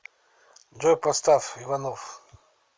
джой поставь иванов